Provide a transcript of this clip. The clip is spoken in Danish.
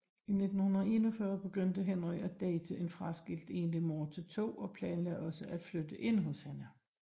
I 1941 begyndte Henry at date en fraskilt enlig mor til to og planlagde også at flytte ind hos hende